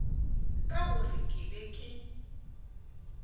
ka gore ke be ke